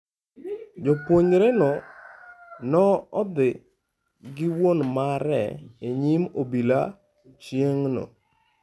Japuonjreno ne odhi gi wuon mare e nyim obila chieng'no.